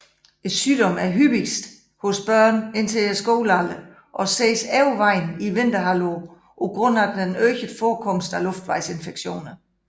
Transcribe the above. Sygdommen er hyppigst hos børn indtil skolealderen og ses overvejende i vinterhalvåret på grund af den øgede forekomst af luftvejsinfektioner